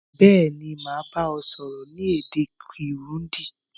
Béèni, màá ba ọ sọ́rọ́ ni èdè Kirundi